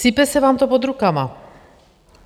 Sype se vám to pod rukama.